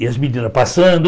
E as meninas passando.